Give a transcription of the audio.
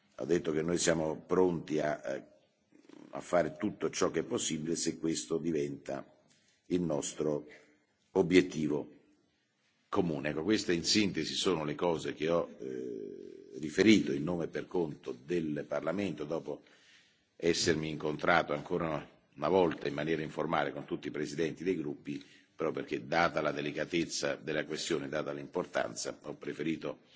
Ho detto che noi siamo pronti a fare tutto ciò che è possibile se questo diventa il nostro obiettivo comune. Queste, in sintesi, sono le cose che ho riferito a nome e per conto del Parlamento dopo essermi incontrato ancora una volta in maniera informale con tutti i presidenti dei gruppi, proprio perché, data la delicatezza della questione e la sua importanza, ho preferito